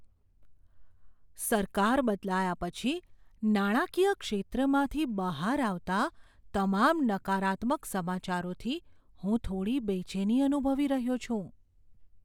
સરકાર બદલાયા પછી નાણાકીય ક્ષેત્રમાંથી બહાર આવતા તમામ નકારાત્મક સમાચારોથી હું થોડી બેચેની અનુભવી રહ્યો છું.